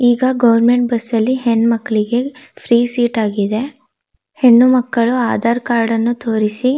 ಈಗಾ government bus ಅಲ್ಲಿ ಹೆಣ್ಣಮಕ್ಕಳಿಗೆ ಫ್ರೀ ಸೀಟ್ ಆಗಿದೆ ಹೆಣ್ಣುಮಕ್ಕಳು ಆಧಾರ್ ಕಾರ್ಡ್ ಅನ್ನು ತೋರಿಸಿ--